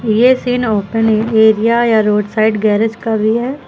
ये scene open area या road side garage का भी है।